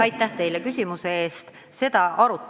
Aitäh teile küsimuse eest!